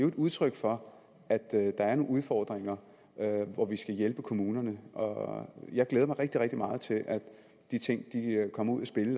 et udtryk for at der er nogle udfordringer hvor vi skal hjælpe kommunerne og jeg glæder mig rigtig rigtig meget til at de ting kommer ud i spil